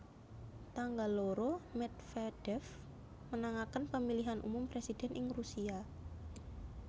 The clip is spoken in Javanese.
Tanggal loro Medvedev menangaken Pemilihan Umum Presiden ing Rusia